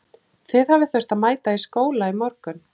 Þið hafið þurft að mæta í skóla í morgun?